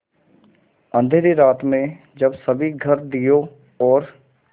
अँधेरी रात में जब सभी घर दियों और